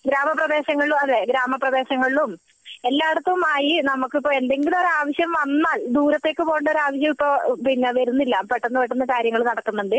ഗ്രാമപ്രദേശങ്ങളിലും അതെ ഗ്രാമ പ്രദേശങ്ങളിലും എല്ലാടത്തും നമ്മക്ക് ഈ എന്തെങ്കിലും ആവശ്യം വന്നാൽ ദൂരത്തേക്ക് പോകേണ്ട ആവശ്യം ഇപ്പോൾ വരുന്നില്ല പെട്ടെന്ന് പെട്ടെന്ന് കാര്യങ്ങൾ നടക്കുന്നുണ്ടന്